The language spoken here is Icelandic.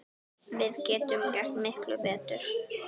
Við getum gert miklu betur!